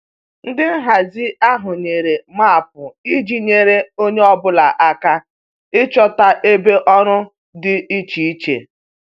Ndị nhazi ahụ nyere maapụ iji nyere onye ọ bụla aka ịchọta ebe ọrụ dị iche iche